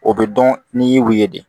O bɛ dɔn n'i y'u ye de